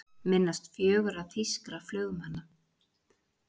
Minnast fjögurra þýskra flugmanna